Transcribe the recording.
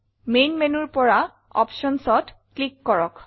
main menuৰ পৰা Optionsত ক্লিক কৰক